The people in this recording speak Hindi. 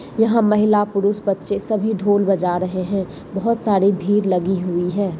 यहाँ महिला पुरुष बच्चे सभी ढोल बजा रहे हैं। बहत सारी भीर लगी हुई हैं।